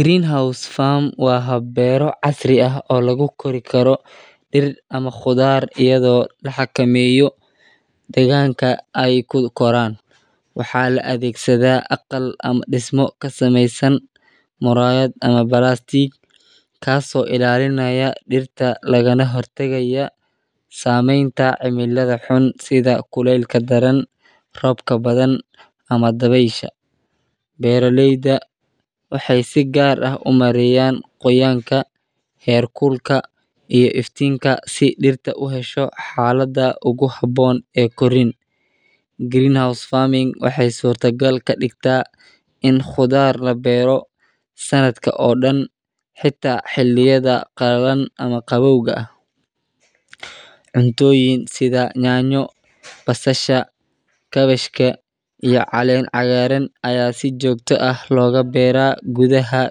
Green house farm waa hab beero casri ah oo lagu kori karo dir ama qudhaar iyo deganka ee ku keran waxaa la adhegsaada aqal ama dismo kasamesan murayaad kas oo ilalinaya dirta, robka badan ama dawesha, beera leyda waxee sifican u jecelyihin qawow, cuntoyin sitha nyanya basal kabejka iyo calen cagaran aya si jogto ah loga beera gudhaha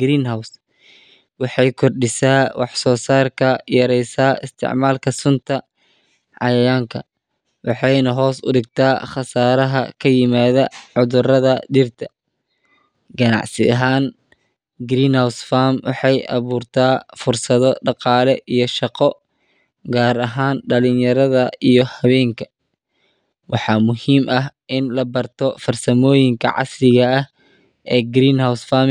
green house waxee kor disaa wax sosarka iyo isticmalka sunta iyo cayayanka iyada oo hos udigta qasaraha kaimada cudurada dirta, ganacsi ahan waxee aburta shaqoo, waxaa muhiim ah in la barto fursadoyin shaqo.